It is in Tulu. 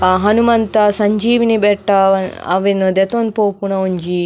ಆ ಹನುಮಂತ ಸಂಜೀವಿನಿ ಬೆಟ್ಟ ಅ ಅವೆನ್ ದೆತೊಂದು ಪೋಪುಣ ಒಂಜಿ.